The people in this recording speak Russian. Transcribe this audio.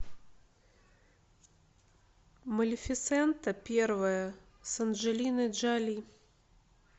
малефисента первая с анджелиной джоли